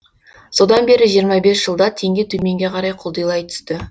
содан бері жиырма бес жылда теңге төменге қарай құлдилай түсті